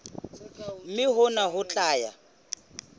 mme hona ho tla ya